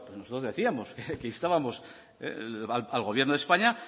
nosotros decíamos que instábamos al gobierno de españa